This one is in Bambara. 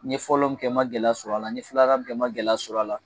N ye fɔlɔ min kɛ n ma gɛlɛya sɔrɔ a la n ye filanan min kɛ n ma gɛlɛya sɔrɔ a la